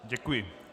Děkuji.